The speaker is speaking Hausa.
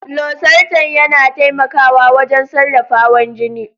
Losartan yana taimakawa wajen sarrafa hawan jini.